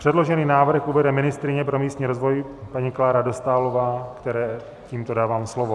Předložený návrh uvede ministryně pro místní rozvoj paní Klára Dostálová, které tímto dávám slovo.